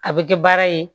A bɛ kɛ baara ye